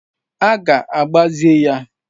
A ga-agbaze ya.